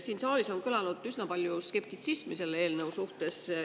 Siin saalis on kõlanud üsna palju skeptitsismi selle eelnõu suhtes.